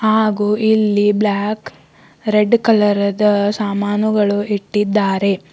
ಹಾಗು ಇಲ್ಲಿ black red ಕಲರದ ಸಾಮಾನುಗಳು ಇಟ್ಟಿದ್ದಾರೆ.